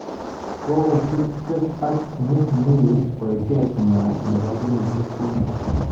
Kokotup Drake ak mikmill wechet nywaa nebo kenyisyek somok